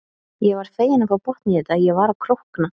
Ég var fegin að fá botn í þetta, ég var að krókna.